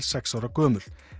sex ára gömul